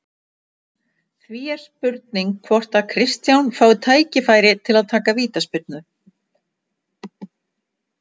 Því er spurning hvort að Kristján fái tækifæri til að taka vítaspyrnu?